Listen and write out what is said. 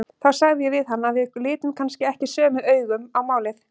Þá sagði ég við hann að við litum kannski ekki sömu augum á málin.